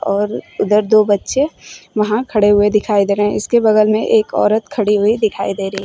और उधर दो बच्चे वहां खड़े हुए दिखाई दे रहे हैं इसके बगल में एक औरत खड़ी हुई दिखाई दे रही।